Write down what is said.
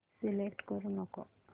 select करू नको